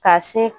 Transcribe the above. Ka se